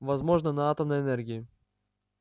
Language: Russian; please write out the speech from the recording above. возможно на атомной энергии